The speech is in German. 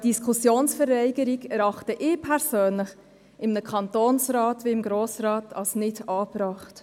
Diskussionsverweigerung erachte ich persönlich in einem Kantonsrat wie dem Grossen Rat als nicht angebracht.